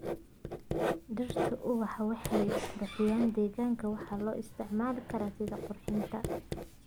Dhirta ubaxa waxay qurxiyaan deegaanka waxayna loo isticmaali karaa sidii qurxinta.